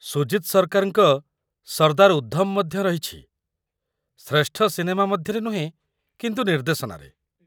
ସୁଜିତ୍ ସରକାରଙ୍କ 'ସର୍ଦ୍ଦାର ଉଦ୍ଧମ' ମଧ୍ୟ ରହିଛି, ଶ୍ରେଷ୍ଠ ସିନେମା ମଧ୍ୟରେ ନୁହେଁ, କିନ୍ତୁ ନିର୍ଦ୍ଦେଶନାରେ।